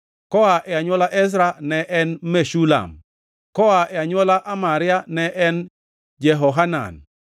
koa e anywola Ezra ne en Meshulam; koa e anywola Amaria ne en Jehohanan;